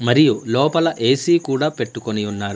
మరియు లోపల ఏ_సీ కూడా పెట్టుకొని ఉన్నారు.